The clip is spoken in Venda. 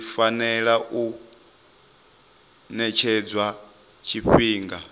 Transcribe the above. zwi fanela u ṅetshedzwa tshifhinga